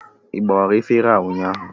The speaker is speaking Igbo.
Ị gbawara efere a ụnyaahụ?